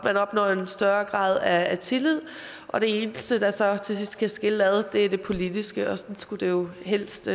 man opnår en større grad af tillid og det eneste der så til sidst kan skille ad er det politiske og sådan skulle det jo helst